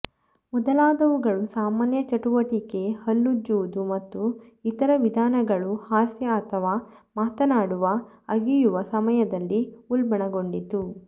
ಮೊದಲಾದವುಗಳು ಸಾಮಾನ್ಯ ಚಟುವಟಿಕೆ ಹಲ್ಲುಜ್ಜುವುದು ಮತ್ತು ಇತರ ವಿಧಗಳನ್ನು ಹಾಸ್ಯ ಅಥವಾ ಮಾತನಾಡುವ ಅಗಿಯುವ ಸಮಯದಲ್ಲಿ ಉಲ್ಬಣಗೊಂಡಿತು